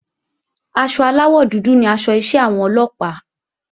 Aṣọ aláwọ̀ dúdú ni aṣọ iṣẹ́ àwọn Ọlọ́pàá